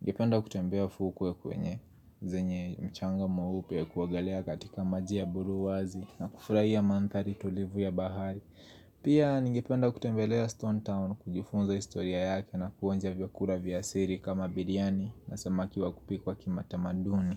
Ningependa kutembea fuu kwenye zenye mchanga mweupe ya kuogelea katika maji ya buluu wazi na kufurahia manthari tulivu ya bahari Pia ningependa kutembelea Stone Town kujifunza historia yake na kuonja vyakula vya siri kama biriani na samaki wa kupikwa kimatamaduni.